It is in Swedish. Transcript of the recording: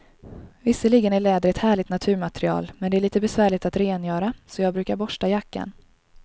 Visserligen är läder ett härligt naturmaterial, men det är lite besvärligt att rengöra, så jag brukar borsta jackan.